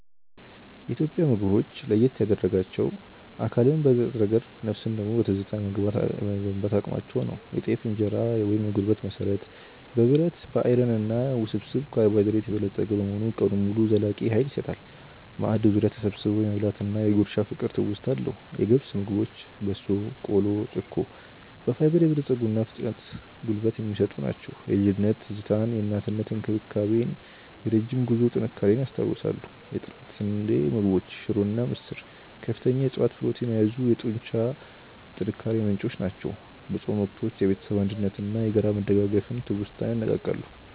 ኢትዮጵያን ምግቦች ለየት ያደርጋቸው አካልን በንጥረ ነገር ነፍስን ደግሞ በትዝታ የመገንባት አቅማቸው ነው። የጤፍ እንጀራ (የጉልበት መሠረት)፦ በብረት (Iron) እና ውስብስብ ካርቦሃይድሬት የበለፀገ በመሆኑ ቀኑን ሙሉ ዘላቂ ኃይል ይሰጣል። ማዕድ ዙሪያ ተሰብስቦ የመብላት እና የ"ጉርሻ" ፍቅር ትውስታ አለው። የገብስ ምግቦች (በሶ፣ ቆሎ፣ ጨኮ)፦ በፋይበር የበለፀጉና ፈጣን ጉልበት የሚሰጡ ናቸው። የልጅነት ትዝታን የእናትነት እንክብካቤን እና የረጅም ጉዞ ጥንካሬን ያስታውሳሉ። የጥራጥሬ ምግቦች (ሽሮ እና ምስር)፦ ከፍተኛ የዕፅዋት ፕሮቲን የያዙ የጡንቻ ጥንካሬ ምንጮች ናቸው። የጾም ወቅቶችን የቤተሰብ አንድነትን እና የጋራ መደጋገፍን ትውስታ ያነቃቃሉ።